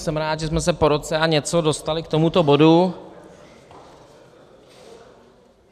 Jsem rád, že jsme se po roce a něco dostali k tomuto bodu.